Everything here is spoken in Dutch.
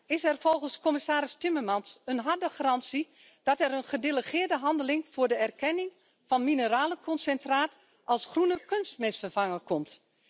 Is er volgens commissaris Timmermans een harde garantie dat er een gedelegeerde handeling voor de erkenning van mineralenconcentraat als groene kunstmestvervanger komt?